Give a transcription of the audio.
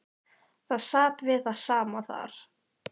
Það sat við það sama þar.